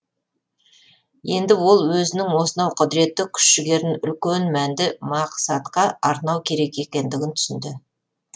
енді ол өзінің осынау құдіретті күш жігерін үлкен мәнді мақсатқа арнау керек екендігін түсінді